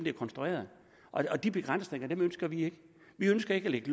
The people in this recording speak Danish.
er konstrueret og de begrænsninger ønsker vi ikke vi ønsker ikke at lægge